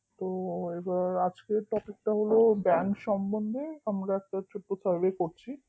তো এবার আজকের topic টা হল bank সম্বন্ধে আমরা ছোট্ট একটা serve করছি